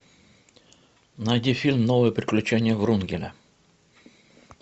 найди фильм новые приключения врунгеля